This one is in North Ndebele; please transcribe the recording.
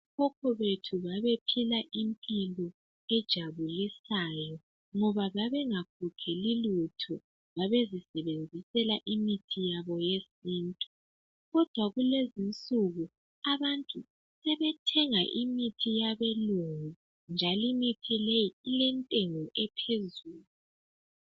Okhokho bethu babephila impilo ejabulisayo, ngoba babengaguguli lutho. Babezisebenzisela imithi yabo yesintu, kodwa Kulezi insuku abantu sebethenga imithi yabelungu, njalo imithi leyi, ilentengo ephezulu.